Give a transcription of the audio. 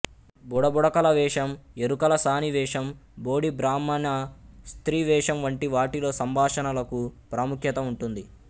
బుడబుడకల వేషం ఎరుకలసాని వేషం బోడి బ్రాహ్మణ స్త్రీ వేషం వంటి వాటిలో సంభాషణలకు ప్రాముఖ్యత ఉంటుంది